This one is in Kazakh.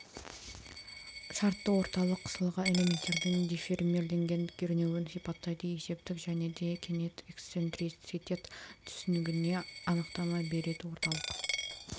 шартты орталық қысылған элементтердің деформирленген кернеуін сипаттайды есептік және де кенет эксцентриситет түсінігіне анықтама береді орталық